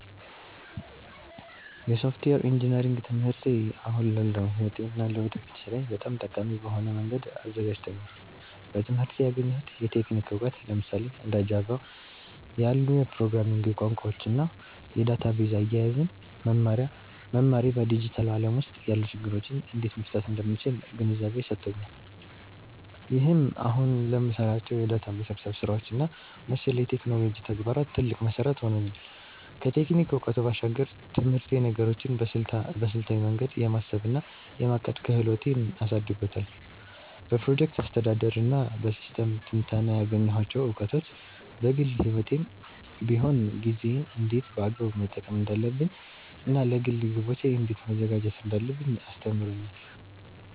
የሶፍትዌር ኢንጂነሪንግ ትምህርቴ አሁን ላለው ሕይወቴ እና ለወደፊት ሥራዬ በጣም ጠቃሚ በሆነ መንገድ አዘጋጅቶኛል። በትምህርቴ ያገኘሁት የቴክኒክ እውቀት፣ ለምሳሌ እንደ ጃቫ (Java) ያሉ የፕሮግራሚንግ ቋንቋዎችን እና የዳታቤዝ አያያዝን መማሬ፣ በዲጂታሉ ዓለም ውስጥ ያሉ ችግሮችን እንዴት መፍታት እንደምችል ግንዛቤ ሰጥቶኛል። ይህም አሁን ለምሰራቸው የዳታ መሰብሰብ ስራዎች እና መሰል የቴክኖሎጂ ተግባራት ትልቅ መሠረት ሆኖኛል። ከቴክኒክ እውቀቱ ባሻገር፣ ትምህርቴ ነገሮችን በስልታዊ መንገድ የማሰብ እና የማቀድ ክህሎቴን አሳድጎታል። በፕሮጀክት አስተዳደር እና በሲስተም ትንተና ያገኘኋቸው እውቀቶች፣ በግል ሕይወቴም ቢሆን ጊዜዬን እንዴት በአግባቡ መጠቀም እንዳለብኝ እና ለግል ግቦቼ እንዴት መዘጋጀት እንዳለብኝ አስተምሮኛል።